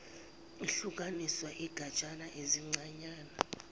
ihlukaniswa izigatshana ezincanyana